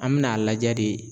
An me n'a lajɛ de